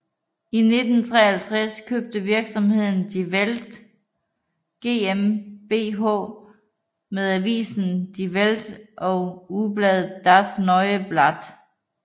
I 1953 købte virksomheden Die Welt GmbH med avisen Die Welt og ugebladet Das neue Blatt